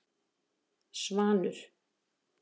Svanur